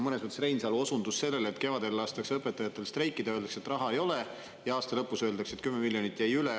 Reinsalu osundas sellele, et kevadel lastakse õpetajatel streikida, öeldakse, et raha ei ole, aga aasta lõpus öeldakse, et 10 miljonit jäi üle.